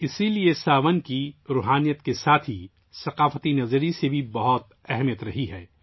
اسی لیے 'ساون' روحانی اور ثقافتی نقطہ نظر سے بہت اہم رہا ہے